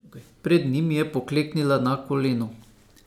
Pred njim je pokleknila na koleno.